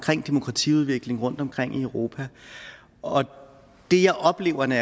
demokratiudvikling rundtomkring i europa og det jeg oplever når